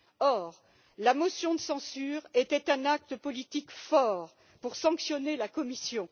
Or, la motion de censure était un acte politique fort pour sanctionner la Commission.